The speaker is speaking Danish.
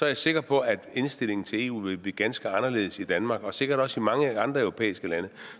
jeg sikker på at indstillingen til eu ville blive ganske anderledes i danmark og sikkert også i mange andre europæiske lande